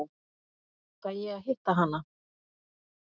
Fæ ég að hitta hana?